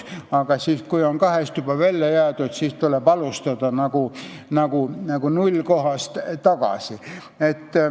Aga siis, kui on kahest parlamendikoosseisust välja jäädud, tuleb alustada nagu nullist.